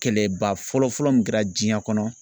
Kɛlɛba fɔlɔ fɔlɔ min kɛra jiyɛn kɔnɔ